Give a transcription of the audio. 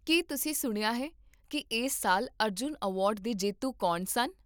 ਕੀ ਤੁਸੀਂ ਸੁਣਿਆ ਹੈ ਕਿ ਇਸ ਸਾਲ ਅਰਜੁਨ ਅਵਾਰਡ ਦੇ ਜੇਤੂ ਕੌਣ ਸਨ?